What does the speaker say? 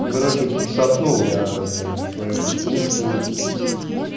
короче подшатнул я блять свою кукушку